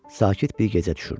Sakit bir gecə düşürdü.